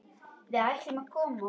Við ættum að koma okkur.